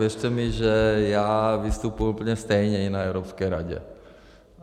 Věřte mi, že já vystupuji úplně stejně i na Evropské radě.